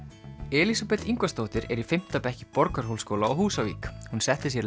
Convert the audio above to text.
Elísabet Ingvarsdóttir er í fimmta bekk í Borgarhólsskóla á Húsavík hún setti sér